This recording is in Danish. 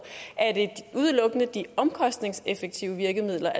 er det udelukkende de omkostningsmæssige virkemidler